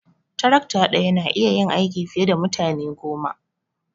Tarakta daya na iya yin aiki fiye da mutane goma.